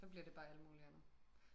så bliver det bare alt muligt andet